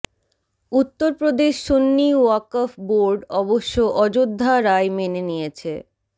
Uttar Pradesh Sunni Waqf board অবশ্য অযোধ্যা রায় মেনে নিয়েছে